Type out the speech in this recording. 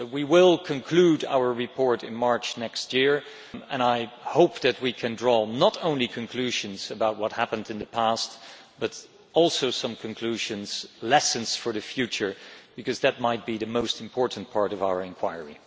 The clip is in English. We will conclude our report in March next year and I hope that we can draw not only conclusions about what happened in the past, but also some conclusions, some lessons for the future, because that might be the most important part of our inquiry.